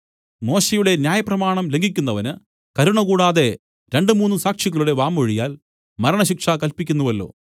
മോശെയുടെ ന്യായപ്രമാണം ലംഘിക്കുന്നവന് കരുണ കൂടാതെ രണ്ടു മൂന്നു സാക്ഷികളുടെ വാമൊഴിയാൽ മരണശിക്ഷ കല്പിക്കുന്നുവല്ലോ